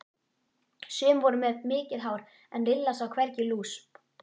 Sum voru með mikið hár en Lilla sá hvergi lús.